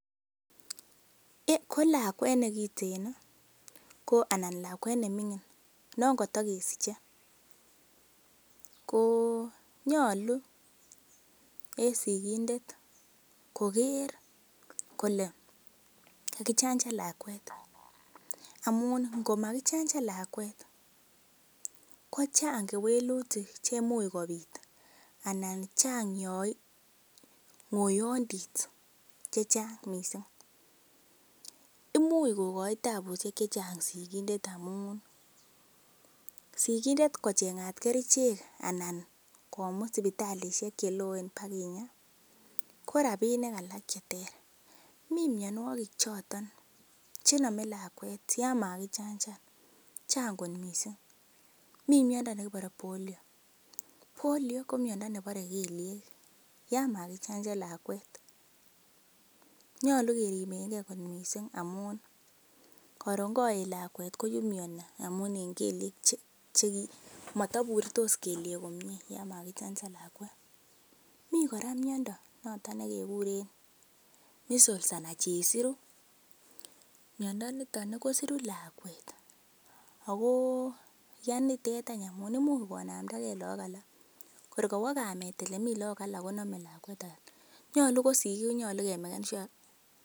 Ko lakwet ne giten anan lakwet ne ming'in non koto kesiche ko nyolu en sigindet koger kole kagijanjan lakwet amun komagijanjan lakwet, kochang kewelutik che imuch kobit anan chang ng'oyondit che chang mising. Imuch kogochi taabushek che chang mising, amun sigindet kocheng'at kerichek anan komut sipitalisiek che loen baginya ko rabinik alak che ter. Mi mianwogik choto che nome lakwet yon magijanjan, chang mising. Mi miando nekibore Polio. Polio ko miando nebore kelyek yan magijanjan lakwet. Nyolu keribenge kot mising amun koron koet lakwet koime mising amun en kelyek che mataburtos kelyek komye yon magijanjan lakwet. Mi kora miando noto nekekure Measles anan Chesiru, miando niton kosiru lakwet ago yanitet amun imuch konambda ge lagok alak. Kor kowo kamet ele me lagok alak konome lakwet age. Nyolu ko sigik konyolu kemek sure